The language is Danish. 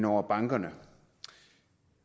over bankerne